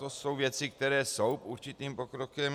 To jsou věci, které jsou určitým pokrokem.